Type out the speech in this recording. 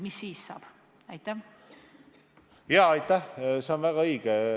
Lauri Läänemets, palun!